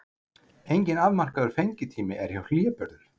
Enginn afmarkaður fengitími er hjá hlébörðum.